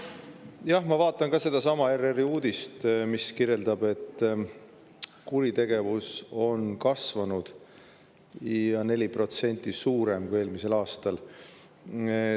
Jah, ma vaatan ka sedasama ERR‑i uudist, mis kirjeldab, et kuritegevus on kasvanud ja on 4% suurem kui eelmisel aastal.